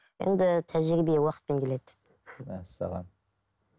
енді тәжірибе уақытпен келеді мәссаған